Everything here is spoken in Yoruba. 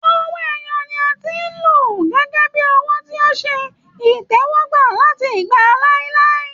Owó ẹyọ ni a ti ń lọ gẹ́gẹ́ bíi owó tí ó ṣe ìtẹ́wọ́gbà láti ìgbà láíláí